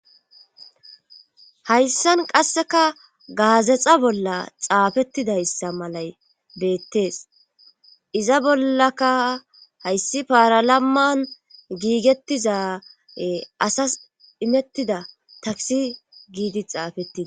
hayssan qasseka gaazexa bolla xaafettidayssa malay beettees iza bollaka hayssi paaralamman giigettizae asas imettida taksi giidi xaafettii